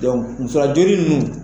musa joli ninnu